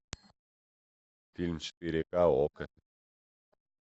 фильм четыре ка окко